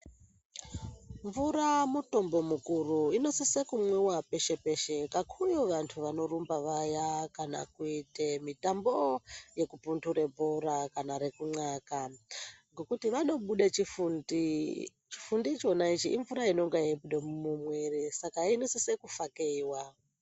Mvura mutombo mukuru, inosise kumwiwa peshe-peshe. Kakuyo vantu vanorumba vaya kana kuite mitambo yekupundure bhora kana rekunxaka. Ngokuti vanobude chifundi, chifundi ichona ichi imvura inonge ichibuda mumwiiri. Saka inosise kufakeyiwa.